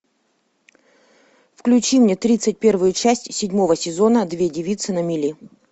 включи мне тридцать первую часть седьмого сезона две девицы на мели